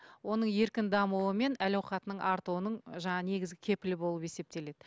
оның еркін дамуы мен әл ауқатының артуының жаңағы негізгі кепілі болып есептеледі